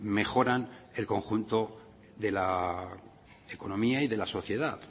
mejoran el conjunto de la economía y de la sociedad